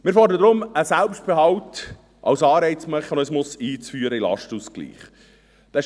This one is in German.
Wir fordern deshalb, einen Selbstbehalt als Anreizmechanismus in den Lastenausgleich einzuführen.